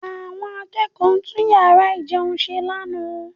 Àwọn akẹ́kọ̀ọ́ tún yàrá ìjẹun ṣe lánàá